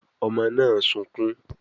Ọmọ náà sunkún